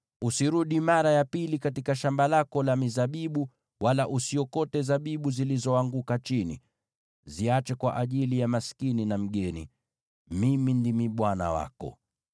Usirudi mara ya pili katika shamba lako la mizabibu, wala usiokote zabibu zilizoanguka chini. Ziache kwa ajili ya maskini na mgeni. Mimi ndimi Bwana Mungu wako.